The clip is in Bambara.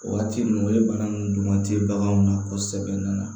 O waati ninnu o ye bana nunnu tɛ baganw na kosɛbɛ